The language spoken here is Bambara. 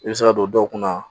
I bɛ se ka don dɔw kunna